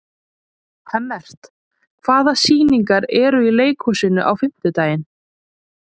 Hemmert, hvaða sýningar eru í leikhúsinu á fimmtudaginn?